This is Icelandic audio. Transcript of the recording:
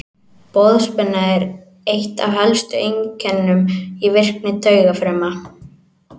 Boðspenna er eitt af helstu einkennum í virkni taugafrumna.